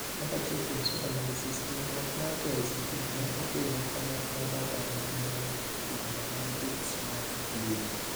Kaka achiel kuom SWOT analysis, riuruok mar KICD ne okelo kanyakla data maneowuok kuom Analytics mag mbui.